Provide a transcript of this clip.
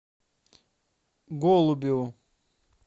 голубеву